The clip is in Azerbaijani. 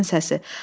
Rüstəmin səsi.